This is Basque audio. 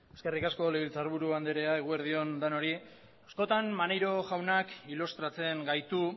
eskerrik asko legebiltzar buru andrea eguerdi on denoi askotan maneiro jaunak ilustratzen gaitu